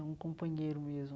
É um companheiro mesmo.